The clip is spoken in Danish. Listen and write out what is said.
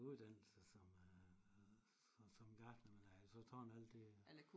Uddannelse som øh som gartner men jeg har så taget alle de